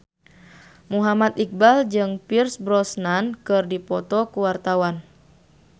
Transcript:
Muhammad Iqbal jeung Pierce Brosnan keur dipoto ku wartawan